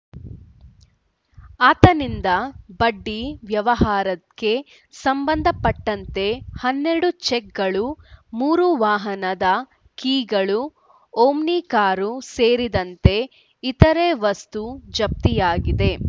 ಆತನಿಂದ ಬಡ್ಡಿ ವ್ಯವಹಾರಕ್ಕೆ ಸಂಬಂಧಪಟ್ಟಂತೆ ಹನ್ನೆರಡು ಚೆಕ್‌ಗಳು ಮೂರು ವಾಹನದ ಕೀಗಳು ಓಮ್ನಿ ಕಾರು ಸೇರಿದಂತೆ ಇತರೆ ವಸ್ತು ಜಪ್ತಿಯಾಗಿದೆ